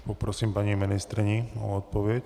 Poprosím paní ministryni o odpověď.